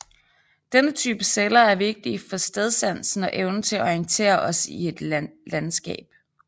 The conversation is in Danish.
Denne type celler er vigtige for stedsansen og evnen til at orientere os i et landskap